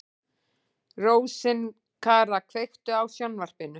Rósinkara, kveiktu á sjónvarpinu.